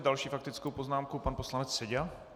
S další faktickou poznámkou pan poslanec Seďa.